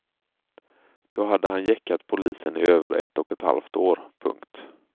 Då hade han gäckat polisen i över ett och ett halvt år. punkt